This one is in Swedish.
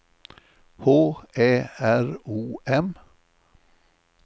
H Ä R O M